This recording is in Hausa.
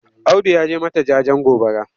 Audu ya je mata jajen gobara.